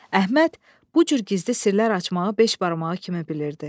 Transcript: Əhməd bu cür gizli sirlər açmağı beş barmağı kimi bilirdi.